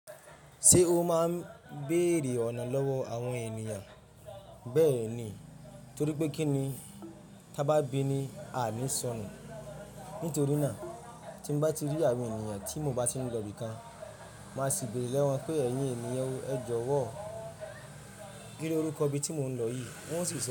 Ṣé o máa ń béèrè ọ̀nà lọ́wọ́ àwọn ènìyàn? Bẹ́ẹ̀ ni, torípé kí ni tá bá bi ni a ní sọnù. Nítorí náà, tí mo bá ti rí àwọn ènìyàn tí mo bá ti ń lọ ibi kan, màá sì béèrè lé wọn pé ẹ̀yin ènìyàn ẹ jọ̀wọ́ kí ni orúkọ ibi tí mo ń lọ yìí? Wọ́n o sì sọ.